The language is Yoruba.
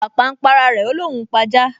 Pàpà n p’ara rẹ̀, ó l’óun ó p’ajá